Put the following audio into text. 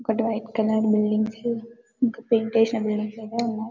ఒకటి white colour buildings ఇంకా paint వేసినట్టుగా ఉన్నారు